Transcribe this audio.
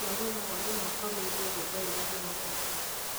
tuuria mawoni makwa meegĩe rwĩmbo rũrĩa rurathaka